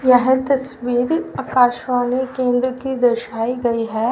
यह तस्वीर आकाशवाणी केंद्र की दर्शाई गई है।